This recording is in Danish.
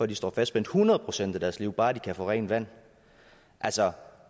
de står fastspændt hundrede procent af deres liv bare de kan få rent vand altså